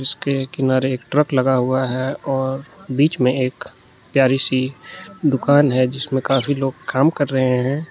उसके किनारे एक ट्रक लगा हुआ है और बीच में एक प्यारी सी दुकान है जिसमें काफी लोग काम कर रहे हैं।